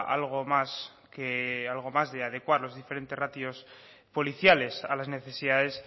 algo más que algo más de adecuar los diferentes ratios policiales a las necesidades